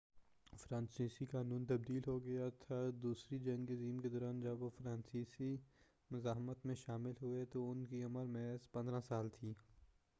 فرانسیسی قانون تبدیل ہو گیا تھا دوسری جنگ عظیم کے دوران جب وہ فرانسیسی مزاحمت میں شامل ہوئے تو ان کی عمر محض 15 سال تھی